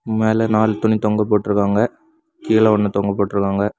மேல நாலு துணி தொங்க போட்டிருக்காங்க கீழ ஒன்னு தொங்க போட்டிருக்காங்க.